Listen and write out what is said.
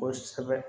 Kosɛbɛ